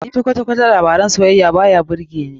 Ni fa kwata-kwata labaran soyayya ba birge ni.